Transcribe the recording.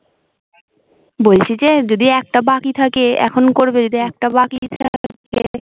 বলছি যে যদি একটা বাকি থাকে এখন করবে যদি হম একটা বাকি থাকবে